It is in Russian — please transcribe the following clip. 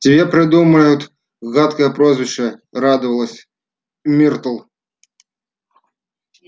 тебе придумают гадкое прозвище радовалась миртл